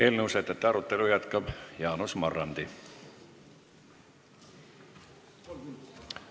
Eelnõu sätete arutelu jätkab Jaanus Marrandi.